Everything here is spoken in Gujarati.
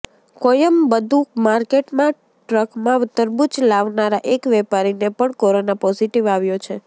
કોયમબદુ માર્કેટમાં ટ્રકમાં તરબૂચ લાવનારા એક વેપારીને પણ કોરોના પોઝિટિવ આવ્યો છે